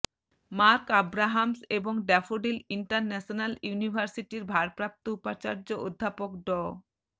mark Abrahams এবং Daffodil International ইউনিভার্সিটির ভারপ্রাপ্ত উপাচার্য অধ্যাপক ড